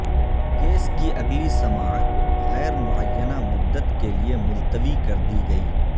case کی اگلی سماعت غیر معینہ مدت کے لیے ملتوی کردی گئی